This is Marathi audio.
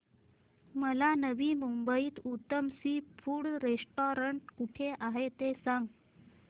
मला नवी मुंबईतलं उत्तम सी फूड रेस्टोरंट कुठे आहे ते सांग